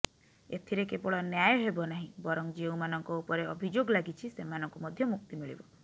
ଏଥିରେ କେବଳ ନ୍ୟାୟ ହେବ ନାହିଁ ବରଂ ଯେଉଁମାନଙ୍କ ଉପରେ ଅଭିଯୋଗ ଲାଗିଛି ସେମାନଙ୍କୁ ମଧ୍ୟ ମୁକ୍ତି ମିଳିବ